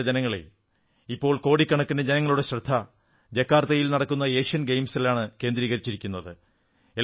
പ്രിയപ്പെട്ട ജനങ്ങളേ ഇപ്പോൾ കോടിക്കണക്കിന് ജനങ്ങളുടെ ശ്രദ്ധ ജക്കാർത്തയിൽ നടക്കുന്ന ഏഷ്യൻ ഗെയിംസിലാണ് കേന്ദ്രീകരിച്ചിരിക്കുന്നത്